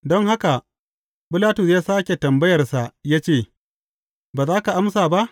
Don haka Bilatus ya sāke tambayarsa ya ce, Ba za ka amsa ba?